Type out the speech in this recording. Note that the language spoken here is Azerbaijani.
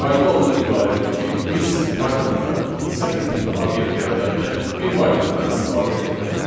Qayda ondan ibarətdir ki, biz Pythonda sətir tipli obyekt yaradarkən, bir variantdan istifadə etməliyik.